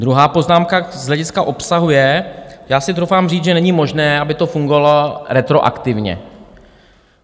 Druhá poznámka z hlediska obsahu je: já si troufám říct, že není možné, aby to fungovalo retroaktivně.